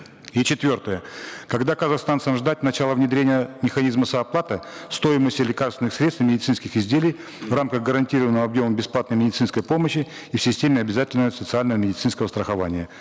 и четвертое когда казахстанцам ждать начала внедрения механизма сооплаты стоимости лекарственных средств и медицинских изделий в рамках гарантированного объема бесплатной медицинской помощи и в системе обязательного социально медицинского страхования